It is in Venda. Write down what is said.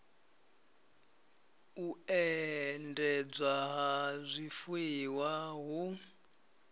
u endedzwa ha zwifuiwa hu